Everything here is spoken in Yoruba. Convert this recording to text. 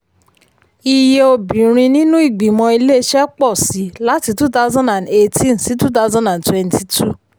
iye obìnrin nínú ìgbìmọ̀ iléeṣẹ́ pọ̀ sí i láti two thousand and eighteen sí two thousand and twenty two.